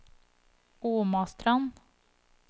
Omastrand